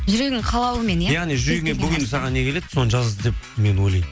жүрегіңнің қалауымен иә яғни жүрегіңе бүгін саған не келеді соны жаз деп мен ойлаймын